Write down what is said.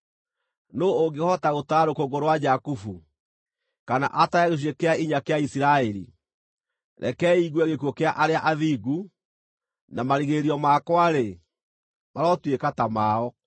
Nũũ ũngĩhota gũtara rũkũngũ rwa Jakubu, kana atare gĩcunjĩ kĩa inya kĩa Isiraeli? Rekei ngue gĩkuũ kĩa arĩa athingu, na marigĩrĩrio makwa-rĩ, marotuĩka ta mao!”